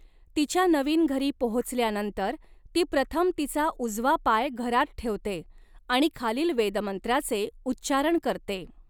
तिच्या नवीन घरी पोहोचल्यानंतर, ती प्रथम तिचा उजवा पाय घरात ठेवते आणि खालील वेदमंत्राचे उच्चारण करते.